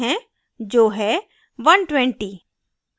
जो है 120